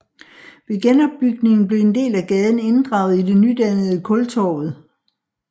Ved genopbygningen blev en del af gaden inddraget i det nydannede Kultorvet